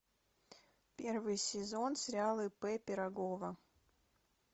первый сезон сериала ип пирогова